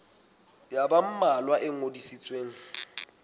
ya ba mmalwa e ngodisitsweng